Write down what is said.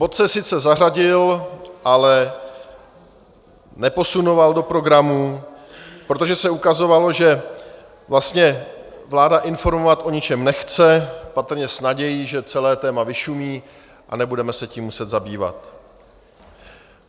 Bod se sice zařadil, ale neposunoval do programu, protože se ukazovalo, že vlastně vláda informovat o ničem nechce, patrně s nadějí, že celé téma vyšumí a nebudeme se tím muset zabývat.